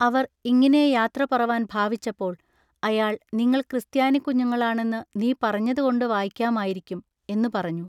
അവർ ഇങ്ങിനെ യാത്രപറവാൻ ഭാവിച്ചപ്പോൾ അയാൾ നിങ്ങൾ ക്രിസ്ത്യാനിക്കുഞ്ഞുങ്ങളാണെന്നു നീ പറഞ്ഞതുകൊണ്ടു വായിക്കാമായിരിക്കും" എന്നു പറഞ്ഞു.